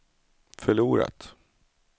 förlorat